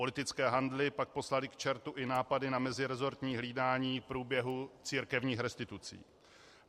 Politické handly pak poslaly k čertu i nápady na mezirezortní hlídání průběhu církevních restitucí.